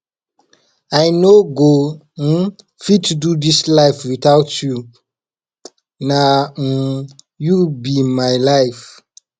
i no go um fit do dis life witout you na um you be my life